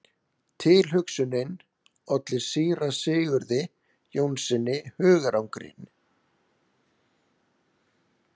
Tilhugsunin olli síra Sigurði Jónssyni hugarangri.